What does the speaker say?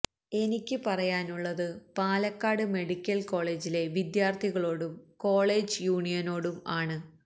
എനിക്ക് പറയാനുള്ളത് പാലക്കാട് മെഡിക്കല് കോളേജിലെ വിദ്യാര്ത്ഥികളോടും കോളേജ് യൂണിയനോടും ആണ്